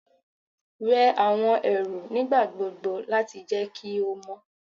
Wẹ awọn ẹru nigbagbogbo lati jẹ ki o mọ